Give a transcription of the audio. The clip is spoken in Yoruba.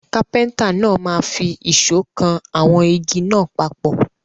Kápẹ́ńtà náà máa fi ìṣọ́ kan àwọn igi náà papọ̀.